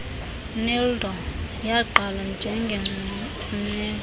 neeldo yagqalwa njengemfuneko